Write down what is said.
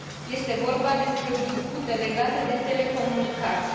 Este vorba despre o dispută legată de telecomunicații.